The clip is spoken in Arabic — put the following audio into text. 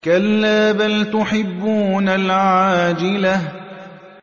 كَلَّا بَلْ تُحِبُّونَ الْعَاجِلَةَ